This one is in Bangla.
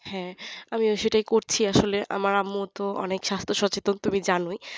হ্যাঁ আমিও সেটাই করছি আসলে আমার আম্মু তো স্বাস্থ সচেতন তুমি তো জানোই